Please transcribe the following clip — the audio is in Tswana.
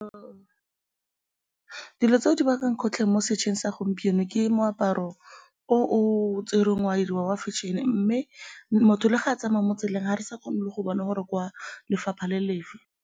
Dilo tseo di bakang kgotlhang mo setšhabeng sa gompieno ke moaparo o o tserweng wa dirwa wa fashion-e mme motho le ga a tsamaya mo tseleng ga re sa kgone le go bona gore ke wa lefapha le lefe.